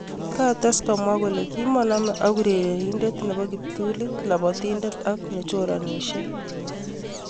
kates komwa kole kimonome ak urerenindet nepo kiptulit ,lapatindet ak nechoranisye